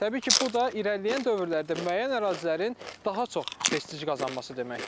Təbii ki, bu da irəliləyən dövrlərdə müəyyən ərazilərin daha çox prestij qazanması deməkdir.